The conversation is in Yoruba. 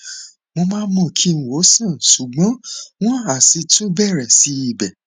mo máa ń mú kí wọn sàn ṣùgbọn wọn á sì tún bẹrẹ sí í bẹ